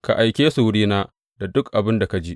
Ka aike su wurina da duk abin da ka ji.